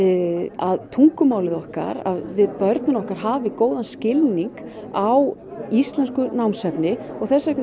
að tungumálið okkar að börnin okkar hafi góðan skilning á íslensku námsefni og þess vegna